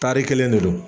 Tari kelen de don